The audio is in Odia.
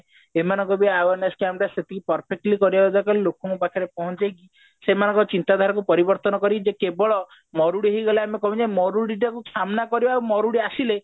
ଏମାନଙ୍କ ଠୁ awareness ସେତିକି perfectly କରିବା ଦରକାର ଲୋକଙ୍କ ପାଖରେ ପହଞ୍ଚେଇକି ସେମାନଙ୍କ ଚିନ୍ତାଧାରାକୁ ପରିବର୍ତନ କରି ଯେ କେବଳ ମରୁଡି ହେଇଗଲେ ଆମେ କେମତି ମରୁଡି ଟା କୁ ସାମ୍ନା କରିବା ଆଉ ମରୁଡି ଆସିଲେ